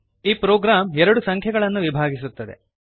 ಈ ಪ್ರೋಗ್ರಾಮ್ ಎರಡು ಸಂಖ್ಯೆಗಳನ್ನು ವಿಭಾಗಿಸುತ್ತದೆ